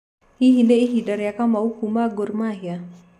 Hihi nĩ ihinda rĩa Kamau kuma Gor Mahia?